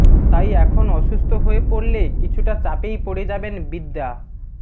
তাই এখন অসুস্থ হয়ে পড়লে কিছুটা চাপেই পড়ে যাবেন বিদ্যা